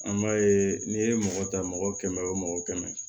An b'a ye n'i ye mɔgɔ ta mɔgɔ kɛmɛ o mɔgɔ kɛmɛ